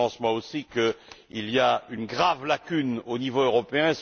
Je pense aussi qu'il y a une grave lacune au niveau européen.